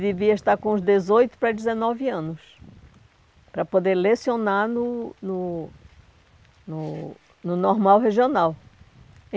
devia estar com uns dezoito para dezenove anos para poder lecionar no no no no normal regional.